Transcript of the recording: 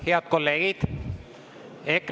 Head kolleegid!